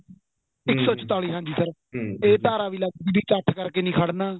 ਇੱਕ ਸੋ ਚੁਤਾਲੀ ਹਾਂਜੀ sir ਏ ਧਾਰਾ ਚ ਵੀ ਇੱਕਠ ਕਰਕੇ ਨਹੀਂ ਕਰਨਾ